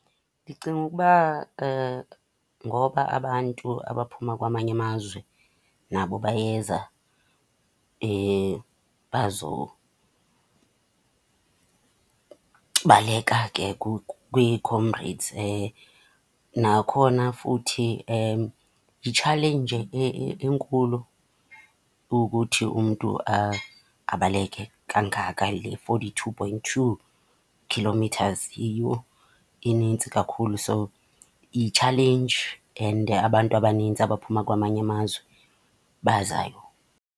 Ndicinga ukuba ngoba abantu abaphuma kwamanye amazwe nabo bayeza baleka ke kwiComrades. Nakhona futhi, yitshaleyinje enkulu ukuthi umntu abaleke kangaka le forty two point two kilometres, yiyho inintsi kakhulu. So, yitshalenji and abantu abaninzi abaphuma kwamanye amazwe bazayo.